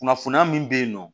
Kunnafoniya min bɛ yen nɔ